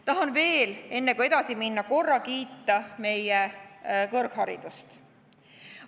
Tahan veel, enne kui edasi minna, korra kiita meie kõrgharidust.